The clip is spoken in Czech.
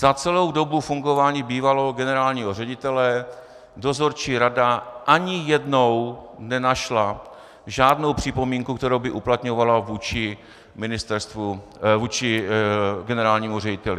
Za celou dobu fungování bývalého generálního ředitele dozorčí rada ani jednou nenašla žádnou připomínku, kterou by uplatňovala vůči generálnímu řediteli.